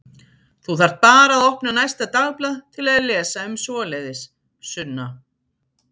Þú þarft bara að opna næsta dagblað til að lesa um svoleiðis, Sunna.